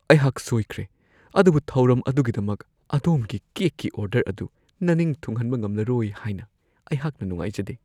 ꯑꯩꯍꯥꯛ ꯁꯣꯏꯈ꯭ꯔꯦ, ꯑꯗꯨꯕꯨ ꯊꯧꯔꯝ ꯑꯗꯨꯒꯤꯗꯃꯛ ꯑꯗꯣꯝꯒꯤ ꯀꯦꯛꯀꯤ ꯑꯣꯔꯗꯔ ꯑꯗꯨ ꯅꯅꯤꯡ ꯊꯨꯡꯍꯟꯕ ꯉꯝꯂꯔꯣꯏ ꯍꯥꯏꯅ ꯑꯩꯍꯥꯛꯅ ꯅꯨꯡꯉꯥꯏꯖꯗꯦ ꯫